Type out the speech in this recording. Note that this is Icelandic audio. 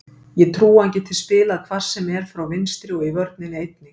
Ég trúi að hann geti spilað hvar sem er frá vinstri og í vörninni einnig.